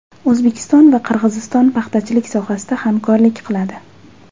O‘zbekiston va Qirg‘iziston paxtachilik sohasida hamkorlik qiladi.